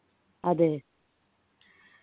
അതെ